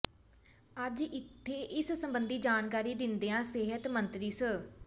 ਅੱਜ ਇੱਥੇ ਇਸ ਸਬੰਧੀ ਜਾਣਕਾਰੀ ਦਿੰਦਿਆਂ ਸਿਹਤ ਮੰਤਰੀ ਸ